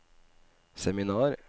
seminar